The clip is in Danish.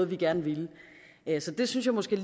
vi gerne ville nederst det synes jeg måske